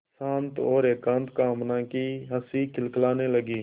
शांत और एकांत कामना की हँसी खिलखिलाने लगी